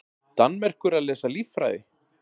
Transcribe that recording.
Danmerkur að lesa líffræði?